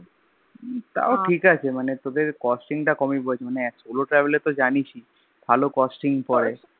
তাও ঠিকাছে মানে তোদের Costing টা মানে কমি পড়েছে মানে SoloTravel এ তো জানিস ই ভালো Costing পরে